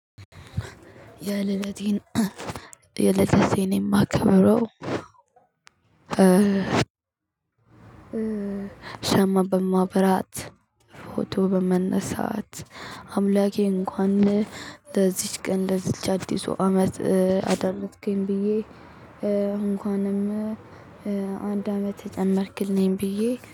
የልደቴን የልደቴን የማከበረው። ሻማ በማብራት ፎቶ በመነሳት አምላኬ እንኳን ለዚች ቀን ለዚች አዲሱ አመት አደረስከኝ ብዬ። እንኳንም አንድ አመት ጨመርክልኝ ብዬ